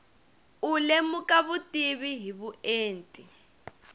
u lemuka vutivi hi vuenti